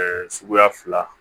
suguya fila